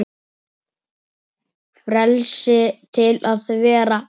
Frelsi til að vera.